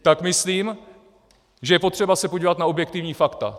Tak myslím, že je potřeba se podívat na objektivní fakta.